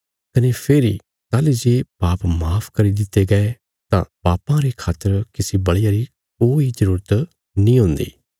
कने फेरी ताहली जे पाप माफ करी दित्ते गये तां पापां रे खातर किसी बल़िया री कोई जरूरत नीं हुन्दी